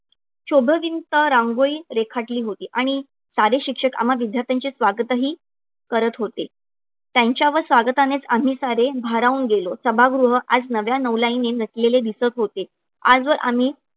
शोभविंता रांगोळी रेखाटली होती आणि सारे शिक्षक आम्हा विद्यार्थ्यांचे स्वागतही करत होते. त्यांच्या व स्वागतानेच आम्ही सारे भारावून गेलो. सभागृह आज नव्या नवलाईने नटलेले दिसत होते. आजवर आम्ही